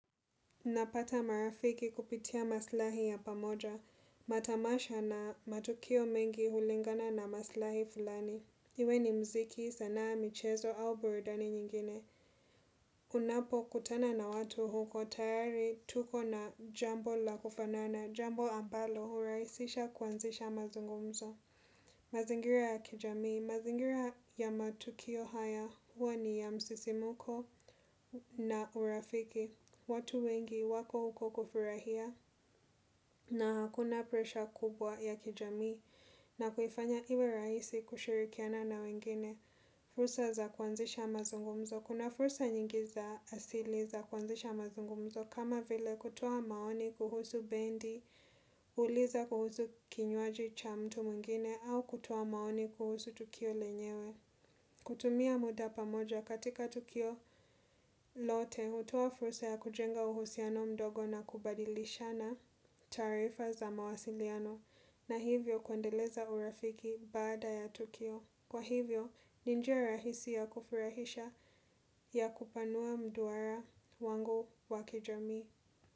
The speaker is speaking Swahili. Napata marafiki kupitia maslahi ya pamoja. Matamasha na matukio mengi hulingana na maslahi fulani. Iwe ni muziki, sanaa michezo au burudani nyingine. Unapo kutana na watu huko tayari tuko na jambo la kufanana, jambo ambalo hurahisisha kuanzisha mazungumzo. Mazingira ya kijami, mazingira ya matukio haya huwa ni ya msisimko na urafiki. Watu wengi wako huko kufurahia na hakuna presha kubwa ya kijamii na kuifanya iwe rahisi kushirikiana na wengine. Fursa za kuanzisha mazungumzo. Kuna fursa nyingi za asili za kuanzisha mazungumzo kama vile kutoa maoni kuhusu bendi, kuuliza kuhusu kinywaji cha mtu mwingine au kutoa maoni kuhusu tukio lenyewe. Kutumia muda pamoja katika Tukio, lote hutoa fursa ya kujenga uhusiano mdogo na kubadilishana taarifa za mawasiliano na hivyo kuendeleza urafiki baada ya Tukio. Kwa hivyo, ni njia rahisi ya kufurahisha ya kupanua mduara wangu wa kijamii.